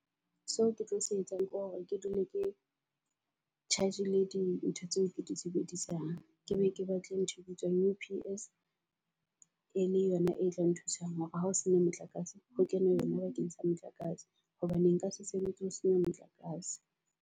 Seo ke tlo se etsang ke hore ke dule ke charge-ile di ntho tseo ke di sebedisang. Ke be ke batle ntho e bitswang U_P_S. E le yona e tla nthusang hore ha ho sena motlakase ho kene yona bakeng sa motlakase. Hobane nka se sebetse ho sena motlakase.